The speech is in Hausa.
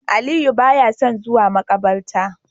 Aliyu baya son zuwa makabarta